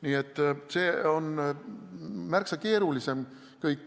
Nii et see kõik on märksa keerulisem.